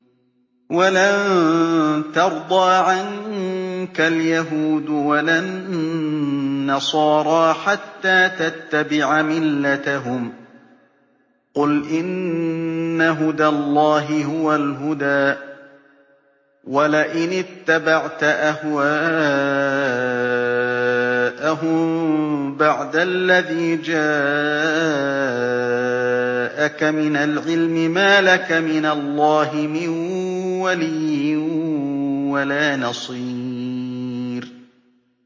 وَلَن تَرْضَىٰ عَنكَ الْيَهُودُ وَلَا النَّصَارَىٰ حَتَّىٰ تَتَّبِعَ مِلَّتَهُمْ ۗ قُلْ إِنَّ هُدَى اللَّهِ هُوَ الْهُدَىٰ ۗ وَلَئِنِ اتَّبَعْتَ أَهْوَاءَهُم بَعْدَ الَّذِي جَاءَكَ مِنَ الْعِلْمِ ۙ مَا لَكَ مِنَ اللَّهِ مِن وَلِيٍّ وَلَا نَصِيرٍ